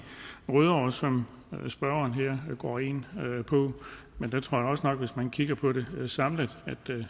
rødovre som spørgeren her går ind på men der tror jeg også nok hvis man kigger på det samlet at det